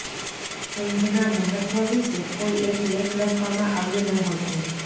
ઊંઘના મહત્વ વિશે કોઈ એક લેખ લખવામાં આવ્યો ન હતો